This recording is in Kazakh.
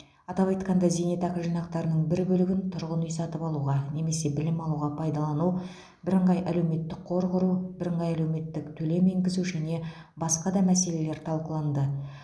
атап айтқанда зейнетақы жинақтарының бір бөлігін тұрғын үй сатып алуға немесе білім алуға пайдалану бірыңғай әлеуметтік қор құру бірыңғай әлеуметтік төлем енгізу және басқа да мәселелер талқыланды